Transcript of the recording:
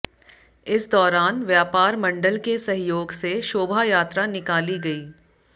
इस दौरान व्यापार मंडल के सहयोग से शोभा यात्रा निकाली गई